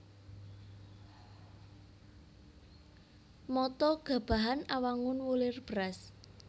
Mata Gabahan Awangun wulir beras